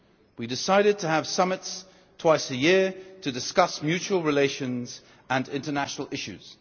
We decided to have summits twice a year to discuss mutual relations and international issues.